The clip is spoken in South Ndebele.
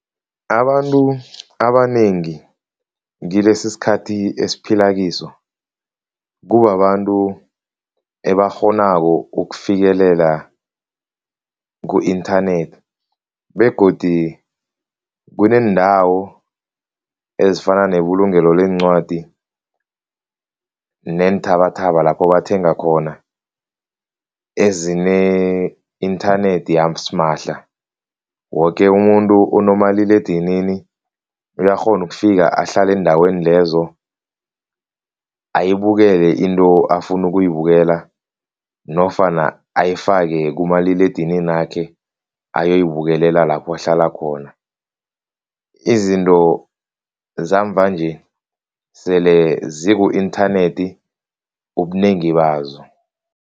Abantu abanengi kilesisikathi esiphila kiso, kubabantu ebakghonako ukufikelela ku-inthanethi begodu kuneendawo ezifana nebulungelo leencwadi neenthabathaba lapho bathenga khona ezine-inthanethi yasimahla. Woke umuntu onomaliledinini uyakghona ukufika ahlale eendaweni lezo ayibukele into afuna ukuyibukela nofana ayifake kumaliledininakhe ayoyibukelela lapho uhlala khona. Izinto zamva-nje sele ziku-inthanethi ubunengi bazo.